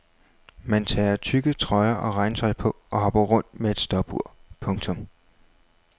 Man tager tykke trøjer og regntøj på og hopper rundt med et stopur. punktum